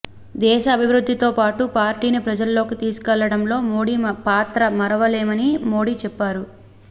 దేశ అభివృద్ధితో పాటు పార్టీని ప్రజల్లోకి తీసుకెళ్లడంలో మోడీ పాత్ర మరవలేమని మోడీ చెప్పారు